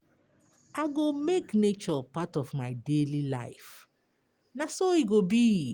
I go make nature part of my daily life; na so e go be.